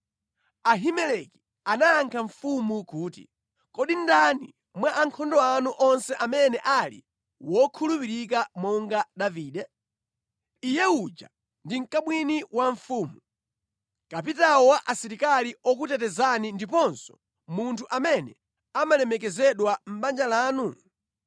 Ahimeleki anayankha mfumu kuti, “Kodi ndani mwa ankhondo anu onse amene ali wokhulupirika monga Davide? Iye uja ndi mkamwini wa mfumu, kapitawo wa asilikali okutetezani ndiponso munthu amene amalemekezedwa mʼbanja lanu?